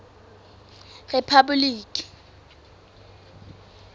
rephaboliki